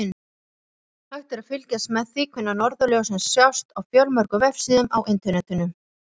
Hægt er að fylgjast með því hvenær norðurljósin sjást á fjölmörgum vefsíðum á Internetinu.